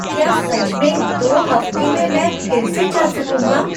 क्या सच में दो हफ्ते में मैं फिर से चल सकूंगा?